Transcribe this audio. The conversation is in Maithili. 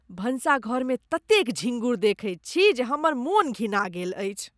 भानसघरमे ततेक झिँगुर देखैत छी जे हमर मोन घिना गेल अछि।